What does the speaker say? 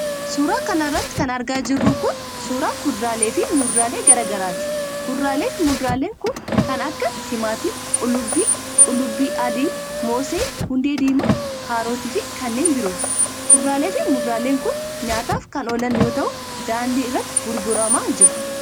Suura kana irratti kan argaa jirru kun, suura kuduraalee fi muduraalee garaa garaati. Kuduraalee fi muduraaleen kun kan akka: timaatima, qullubbii, qullubbii adii ,moosee, hundee diimaa ,kaarota fi kanneen birootti. Kuduraalee fi muduraaleen kun nyaataaf kan oolan yoo ta'u, daandii irratti gurguramaa jiru.